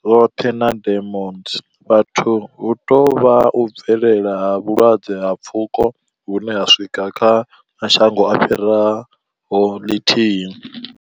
zwoṱhe na demos, vhathu hu tou vha u bvelela ha vhulwadze ha pfuko hune ho swika kha mashango a fhiraho lithihi.